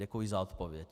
Děkuji za odpověď.